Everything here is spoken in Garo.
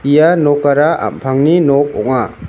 ia nokara ampangni nok ong·a.